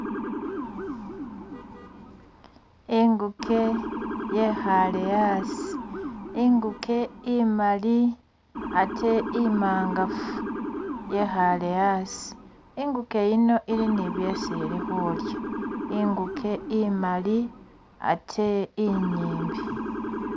Inguke yekhaale asi, inguke imaali ate imangaafu yekhaale asi, inguke iyino ili ne byesi ili khulya, inguke imaali ate inyimbi